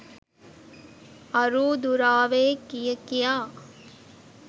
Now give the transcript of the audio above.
අරූ දුරාවේ කිය කියා